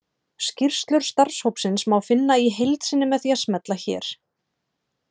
Skýrslu starfshópsins má finna í heild sinni með því að smella hér.